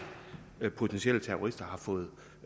potentielle terrorister har fået